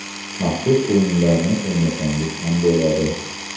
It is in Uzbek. Maxsus o‘yinlarni o‘ynasangiz ham bo‘ladi.